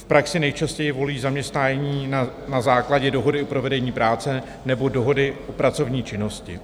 V praxi nejčastěji volí zaměstnání na základě dohody o provedení práce nebo dohody o pracovní činnosti.